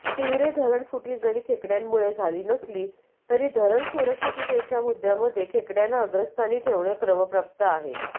तिवरे धरणफुटी जरी खेकड्यांमुळे झाली नसली तरी धरण सुरक्षिततेच्या मुद्यांमध्ये खेकड्यांना अग्रस्थानी ठेवणे क्रमप्राप्त आहे